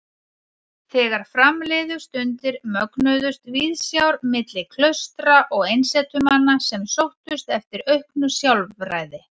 Þegar fram liðu stundir mögnuðust viðsjár milli klaustra og einsetumanna sem sóttust eftir auknu sjálfræði.